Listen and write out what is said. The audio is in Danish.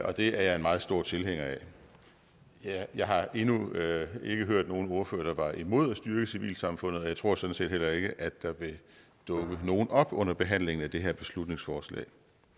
og det er jeg meget stor tilhænger af jeg endnu ikke hørt nogen ordfører der var imod at styrke civilsamfundet og jeg tror sådan set heller ikke at der vil dukke nogen op under behandlingen af det her beslutningsforslag